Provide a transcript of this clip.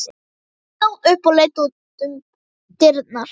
Hún stóð upp og leit út um dyrnar.